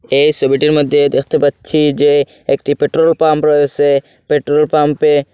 এই সবিটির মধ্যে দেখতে পাচ্ছি যে একটি পেট্রোলপাম্প রয়েসে পেট্রোলপাম্পে--